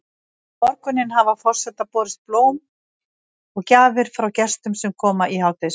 Um morguninn hafa forseta borist blóm og gjafir frá gestum sem koma í hádegismat.